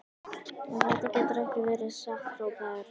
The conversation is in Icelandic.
En þetta getur ekki verið satt hrópaði Örn.